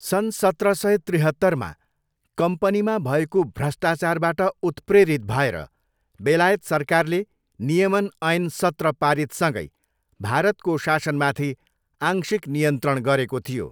सन् सत्र सय त्रिहत्तरमा कम्पनीमा भएको भ्रष्टाचारबाट उत्प्रेरित भएर बेलायत सरकारले नियमन ऐन सत्र पारित सँगै भारतको शासनमाथि आंशिक नियन्त्रण गरेको थियो।